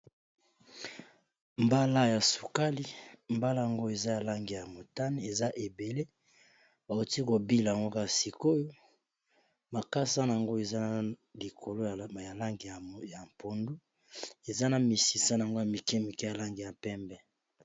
Mbala ya sukali mbala yango eza ya lange ya motane, eza ebele bakoti kobila mgokaa sikoyo makasa yango eza na likolo ya lange ya mpondo, eza na misisa yango ya mike mike yalange ya pembe.